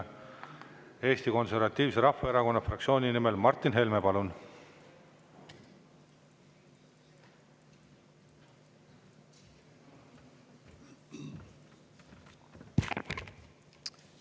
Eesti Konservatiivse Rahvaerakonna fraktsiooni nimel Martin Helme, palun!